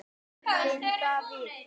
Þinn Davíð.